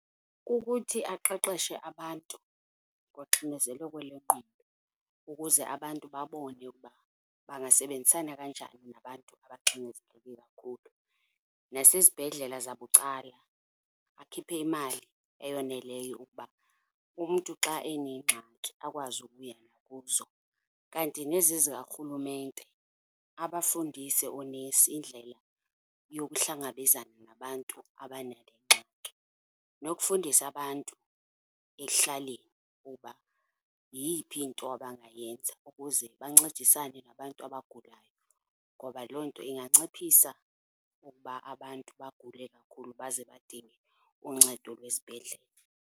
Kukuthi aqeqeshe abantu ngoxinezeleko lwengqondo ukuze abantu babone ukuba bangasebenzisana kanjani nabantu abaxinezeleke kakhulu. Nasezibhedlela zabucala akhiphe imali eyoneleyo ukuba umntu xa enengxaki akwazi ukuya nakuzo. Kanti nezi zika rhulumente, abafundise oonesi indlela yokuhlangabezana nabantu abanale ngxaki. Nokufundisa abantu ekuhlaleni ukuba yeyiphi into abangayenza ukuze bancedisane nabantu abagulayo, ngoba loo nto inganciphisa ukuba abantu bagule kakhulu baze badinge uncedo lwesibhedlele.